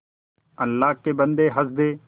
अल्लाह के बन्दे हंस दे